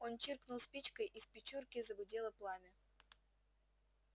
он чиркнул спичкой и в печурке загудело пламя